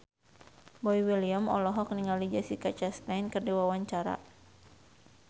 Boy William olohok ningali Jessica Chastain keur diwawancara